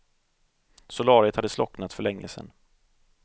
Solariet hade slocknat för länge sedan.